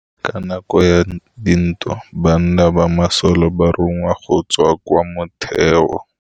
Ka nakô ya dintwa banna ba masole ba rongwa go tswa kwa mothêô.